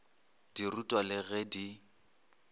di rutwa le ge di